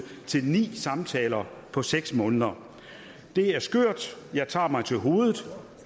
til ni samtaler på seks måneder det er skørt jeg tager mig til hovedet